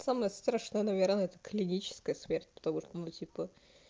самое страшные наверное клиническая смерть потому что ну типа